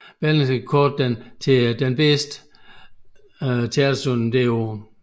Berlingske kårede den til årets bedste teaterforestilling